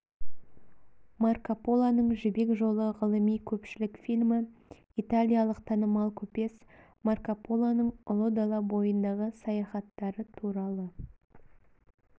марко полоның жібек жолы ғылыми-көпшілік фильмі италиялық танымал көпес марко полоның ұлы дала бойындағы саяхаттары туралы